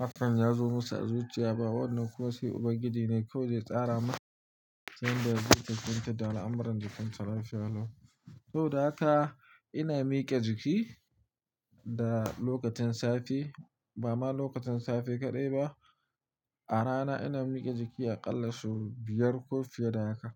hakan ya zo masa a zuciya ba. Wannan kuma sai Ubangiji ne kawai zai tsara masa yadda zai kyautata al'amuran jikin sa lafiya. Saboda haka ina mike jiki da lokacin safe, ba ma lokacin safe kaɗai ba, a rana ina mike jiki aƙalla sau biyar ko fiye da haka.